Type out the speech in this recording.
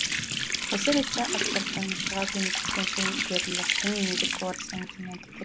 осы ретте аспаптанушыға көмектескен шеберлердің еңбегі орасан екенін айту